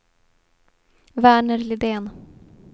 Verner Lidén